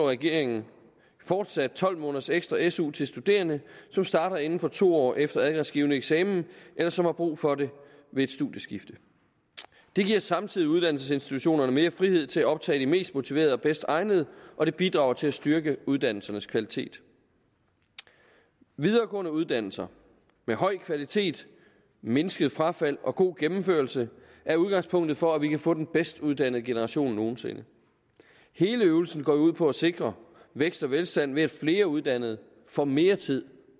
regeringen fortsat tolv måneders ekstra su til studerende som starter inden for to år efter adgangsgivende eksamen eller som har brug for det ved et studieskift det giver samtidig uddannelsesinstitutionerne mere frihed til at optage de mest motiverede og bedst egnede og det bidrager til at styrke uddannelsernes kvalitet videregående uddannelser med høj kvalitet mindsket frafald og god gennemførelse er udgangspunktet for at vi kan få den bedst uddannede generation nogen sinde hele øvelsen går jo ud på at sikre vækst og velstand ved at flere uddannede får mere tid